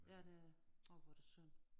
Ja det det orh hvor er det synd